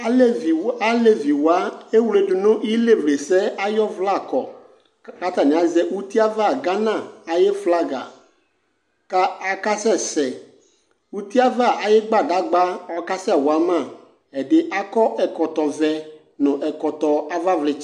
Alevi aleviwa ewledu nʋ ilevlesɛ ay'ɔvlɛakɔ ; k k'atanɩazɛ utiava Ghana ayʋ flaga Ka akasɛ sɛ , utiava ayʋ gbadzgba ɔkasɛwa ma :ɛdɩ akɔ ɛkɔtɔvɛ nʋ ɛkɔtɔ avavlɩtsɛ